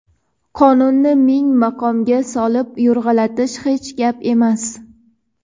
qonunni ming maqomga solib yo‘rg‘alatish hech gap emas.